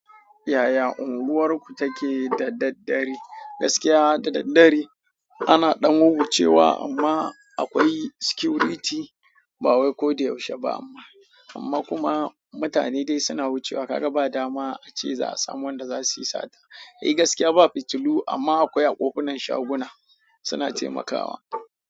Yaya unguwarku take da daddare? Gaskiya da daddare ana ɗan wuwucewa amma akwai security ba wai ko da yaushe ba amma, amma kuma mutane dai suna wucewa ka ga ba dama ace za a samu wanda za su yi sata. Sai gaskiya ba fitilu amma akwai kofunan shaguna suna taimakawa.